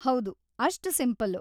ಹೌದು, ಅಷ್ಟು ಸಿಂಪಲ್‌.